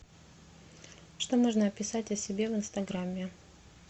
что можно описать о себе в инстаграме